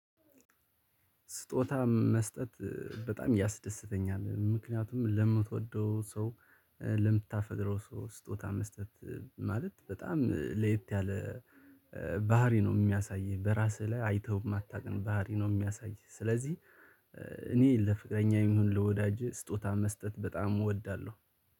ስጦታ መስጠት በጣም ያስደስተኛል ምክንያቱም ለምትወደው ሰው ለምታፈቅረው ሰው ስጦታ መስጠት። ማለት በጣም ለየት ያለ ባህሪ ነው ሚያሳየኝ በራስህ ላይ አይተውም ማታቅን ባህሪ ነው ሚያሳይህ። ስለዚህ እኔ ለፍቅረኛዬ ይሁን ለወደጄ ስጦታ መስጠት በጣም እወዳለሁ።